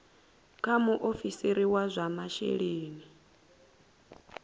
kha muofisiri wa zwa masheleni